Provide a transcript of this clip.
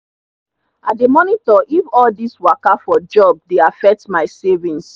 i dey monitor if all this waka for jobs dey affect my savings.